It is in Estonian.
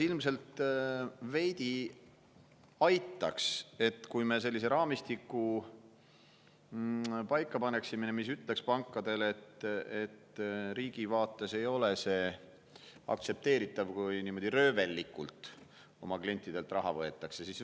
Ilmselt aitaks veidi see, kui me paneksime paika raamistiku, mis ütleks pankadele, et riigi vaates ei ole see aktsepteeritav, kui niimoodi röövellikult oma klientidelt raha võetakse.